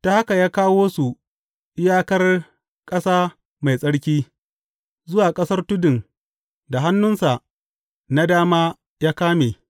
Ta haka ya kawo su iyakar ƙasa mai tsarki, zuwa ƙasar tudun da hannunsa na dama ya kame.